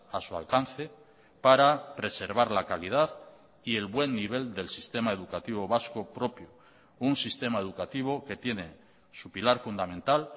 a su alcance para preservar la calidad y el buen nivel del sistema educativo vasco propio un sistema educativo que tiene su pilar fundamental